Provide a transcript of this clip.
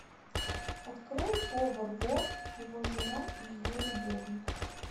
открой повар вор его жена и ее любовник